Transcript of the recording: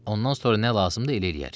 Ondan sonra nə lazımdır elə eləyərik.